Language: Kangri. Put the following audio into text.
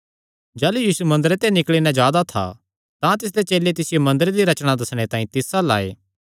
जाह़लू यीशु मंदरे ते निकल़ी नैं जा दा था तां तिसदे चेले तिसियो मंदरे दी रचणा दस्सणे तांई तिस अल्ल आये